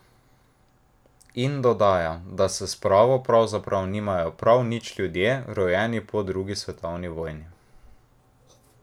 In dodaja, da s spravo pravzaprav nimajo prav nič ljudje, rojeni po drugi svetovni vojni.